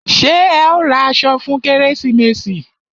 Ṣé ẹ ó ra aṣọ fún kérésìmesì?